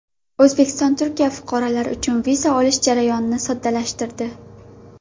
O‘zbekiston Turkiya fuqarolari uchun viza olish jarayonini soddalashtirdi.